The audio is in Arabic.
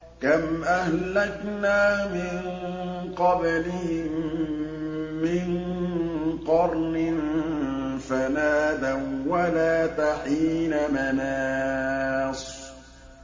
كَمْ أَهْلَكْنَا مِن قَبْلِهِم مِّن قَرْنٍ فَنَادَوا وَّلَاتَ حِينَ مَنَاصٍ